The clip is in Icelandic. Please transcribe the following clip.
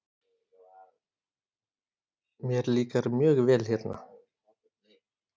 Mér líkar mjög vel hérna.